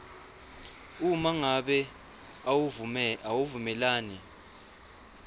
uma ngabe awuvumelani